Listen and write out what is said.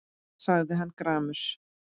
sagði hann gramur.